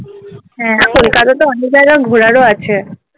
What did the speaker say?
হ্যাঁ কোলকাতাতে অনেক জায়গা ঘোড়ার ও আছে